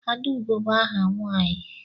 Adaugo bụ áhà nwanyi.